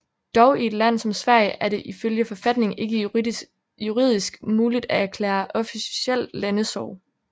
Dog i et land som Sverige er det ifølge forfatningen ikke juridisk muligt at erklære officielt landesorg